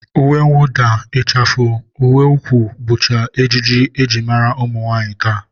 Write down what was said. Uwemwụda, ịchafụ, uweukwu bụcha ejiji e ji mara ụmụnwaanyị taa